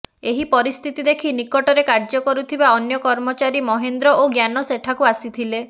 ଏହି ପରିସ୍ଥିତ ଦେଖି ନିକଟରେ କାର୍ଯ୍ୟ କରୁଥିବା ଅନ୍ୟ କର୍ମଚାରୀ ମହେନ୍ଦ୍ର ଓ ଜ୍ଞାନ ସେଠାକୁ ଆସିଥିଲେ